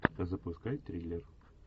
запускай триллер